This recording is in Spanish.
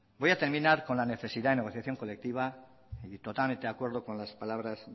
voy a terminar con la necesidad de negociación colectiva y totalmente de acuerdo con las palabras